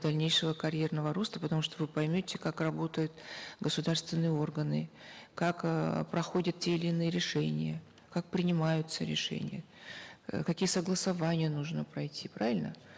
дальнейшего карьерного роста потому что вы поймете как работают государственные органы как э проходят те или иные решения как принимаются решения э какие согласования нужно пройти правильно